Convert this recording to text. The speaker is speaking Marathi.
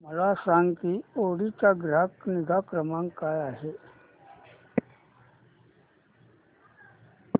मला सांग की ऑडी चा ग्राहक निगा क्रमांक काय आहे